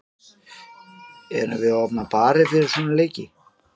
Eigum við að opna bari fyrir svona leiki?